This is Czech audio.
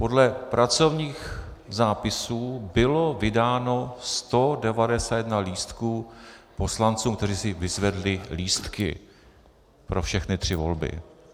Podle pracovních zápisů bylo vydáno 191 lístků poslancům, kteří si vyzvedli lístky pro všechny tři volby.